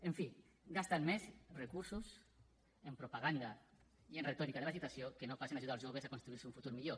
en fi gasten més recursos en propaganda i en retòrica de l’agitació que no pas en ajudar els joves a construir se un futur millor